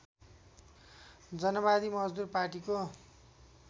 जनवादी मजदुर पार्टीको